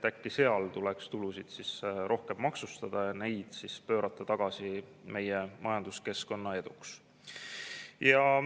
Äkki seal tuleks tulusid rohkem maksustada ja pöörata need siis tagasi meie majanduskeskkonna eduks.